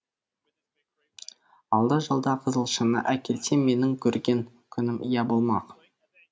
алда жалда қызылшаны әкелсем менің көрген күнім ие болмақ